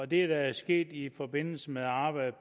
det der er sket i forbindelse med arbejdet